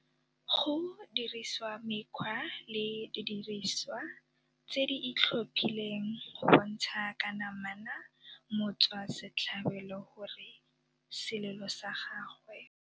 Go dirisiwa mekgwa le didirisiwa tse di itlhophileng go bontsha ka namana motswasetlhabelo gore selelo sa gagwe